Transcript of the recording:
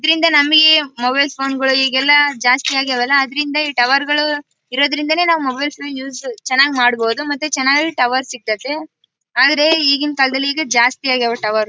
ಇದರಿಂದ ನಮಗೆ mobile phone ಗಳು ಈಗ್ ಎಲ್ಲ ಜಾಸ್ತಿ ಆಗಿವೆ ಅಲ್ಲ ಅದರಿಂದ ಈ ಟವರ್ ಗಳು ಇರೋದರಿಂದನೇ ನಾವು ಮೊಬೈಲ್ಸ್ ನ ಯೂಸ್ ನ ಚೆನ್ನಾಗಿ ಮಾಡಬಹುದು ಮತ್ತೆ ಚೆನ್ನಾಗಿ ಟವರ್ ಸಿಕ್ತಾತ್ತೆ ಆದರೆ ಈಗಿನ ಕಾಲದಲ್ಲಿ ಈಗ ಜಾಸ್ತಿ ಆಗವೆ ಟವರ್ .